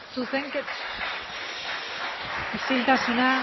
isiltasuna